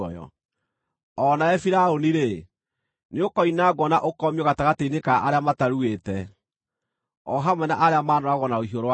“O nawe Firaũni-rĩ, nĩũkoinangwo na ũkomio gatagatĩ-inĩ ka arĩa mataruĩte, o hamwe na arĩa maanooragwo na rũhiũ rwa njora.